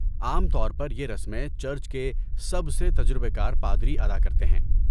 عام طور پر یہ رسمیں چرچ کے سب سے تجربہ کار پادری ادا کرتے ہیں۔